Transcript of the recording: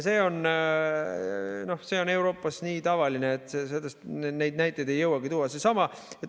See on Euroopas nii tavaline, et neid näiteid ei jõuagi tuua.